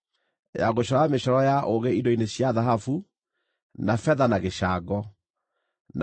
ya gũcora mĩcoro ya ũũgĩ indo-inĩ cia thahabu, na betha na gĩcango, na